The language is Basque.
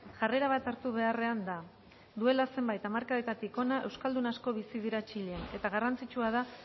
jarrera bat hartu beharrean da duela zenbait hamarkadetatik hona euskaldun asko bizi dira txilen eta garrantzitsua da